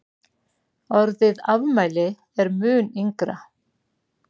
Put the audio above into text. orðið afmæli er mun yngra